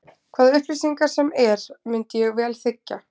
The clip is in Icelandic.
Hvaða upplýsingar sem er myndi ég vel þiggja.